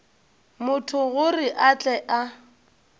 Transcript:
motho gore a tle a